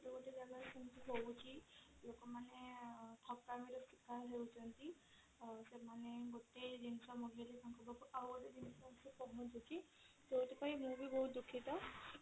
ଗୋଟେ ଗୋଟେ ଜାଗା ରେ ସେମିତି ହଉଛି ଲୋକମାନେ ଠକାମି ର ଶିକାର ହେଉଛନ୍ତି ତ ସେମାନେ ଗୋଟେ ଜିନିଷ ମଗେଇଲେ ତାଙ୍କ ପାଖକୁ ଆଉ ଗୋଟେ ଜିନିଷ ଆସିକି ପହଞ୍ଚୁଛି ଯଉଥି ପାଇଁ କି ମୁଁ ବି ବହୁତ ଦୁଖିତ।